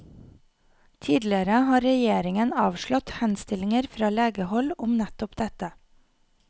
Tidligere har regjeringen avslått henstillinger fra legehold om nettopp dette.